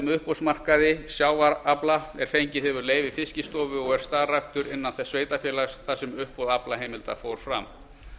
uppboðsmarkaði sjávarafla er fengið hefur leyfi fiskistofu og starfræktur er innan þess sveitarfélags þar sem uppboð aflaheimilda fór fram